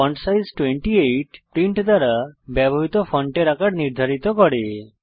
font size 28 print দ্বারা ব্যবহৃত ফন্টের আকার নির্ধারিত করে